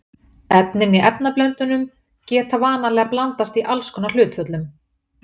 Efnin í efnablöndunum geta vanalega blandast í alls konar hlutföllum.